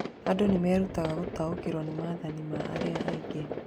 Andũ nĩ merutaga gũtaũkĩrũo nĩ mathĩna ma arĩa angĩ.